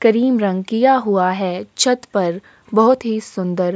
करीम रंग किया हुआ है छत पर बहुत ही सुन्दर --